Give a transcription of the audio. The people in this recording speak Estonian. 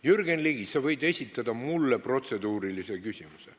Jürgen Ligi, sa võid esitada mulle protseduurilise küsimuse.